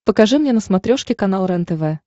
покажи мне на смотрешке канал рентв